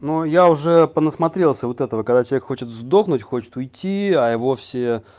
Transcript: но я уже понасмотрелся вот этого когда человек хочет сдохнуть хочет уйти а его все